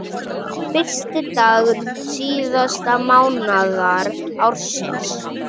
Fyrsti dagur síðasta mánaðar ársins.